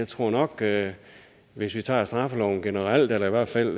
tror nok at hvis vi tager straffeloven generelt eller i hvert fald